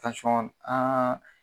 Tansɔn an